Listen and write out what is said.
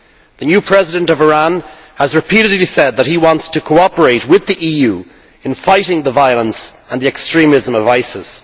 The new President of Iran has repeatedly said that he wants to cooperate with the EU in fighting the violence and the extremism of ISIS.